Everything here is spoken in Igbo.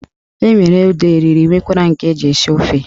Enwere ede oriri nwekwara nke eji esi ofe.